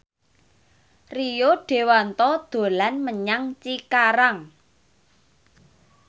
Rio Dewanto dolan menyang Cikarang